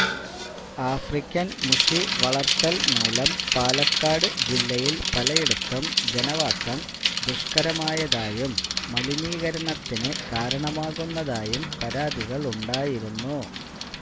African മുഷി വളര്ത്തല് മൂലം പാലക്കാട് ജില്ലയില് പലയിടത്തും ജനവാസം ദുഷ്കരമായതായും മലിനീകരണത്തിന് കാരണമാകുന്നതായും പരാതികളുണ്ടായിരുന്നു